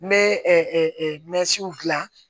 N bɛ dilan